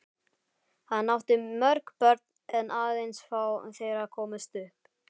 Hann átti mörg börn en aðeins fá þeirra komust upp.